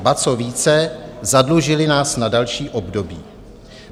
A co více, zadlužily nás na další období.